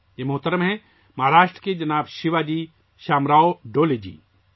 یہ شخص ہیں ، مہاراشٹر کے جناب شیواجی شامراؤ ڈولے جی